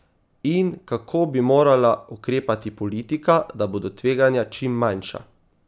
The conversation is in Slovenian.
In kako bi morala ukrepati politika, da bodo tveganja čim manjša?